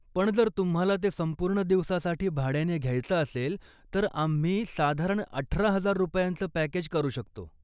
पण जर तुम्हाला ते संपूर्ण दिवसासाठी भाड्याने घ्यायचं असेल तर आम्ही साधारण अठरा हजार रुपयांचं पॅकेज करू शकतो.